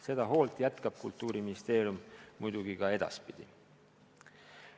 Seda hoolt jätkab Kultuuriministeerium muidugi ka edaspidi.